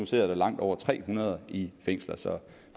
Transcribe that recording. sidder der langt over tre hundrede i fængslerne så